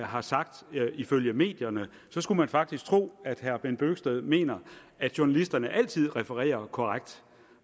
har sagt ifølge medierne så skulle man faktisk tro at herre bent bøgsted mener at journalisterne altid refererer korrekt